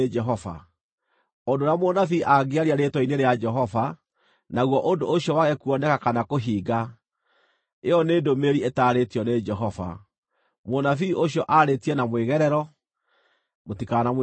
Ũndũ ũrĩa mũnabii angĩaria rĩĩtwa-inĩ rĩa Jehova, naguo ũndũ ũcio wage kuoneka kana kũhinga, ĩyo nĩ ndũmĩrĩri ĩtaarĩtio nĩ Jehova. Mũnabii ũcio aarĩtie na mwĩgerero. Mũtikanamwĩtigĩre.